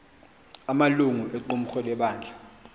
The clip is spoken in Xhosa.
amalungu equmrhu lebandla